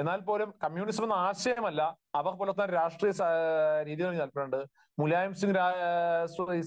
എന്നാൽപോലും communism എന്ന ആശയമല്ല, അവർ പുലർത്തുന്ന രാഷ്ട്രീയ രീതി എന്ന് പറഞ്ഞിട്ടുണ്ടെങ്കിൽ മുലായം